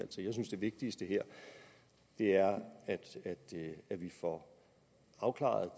til jeg synes det vigtigste her er at vi får afklaret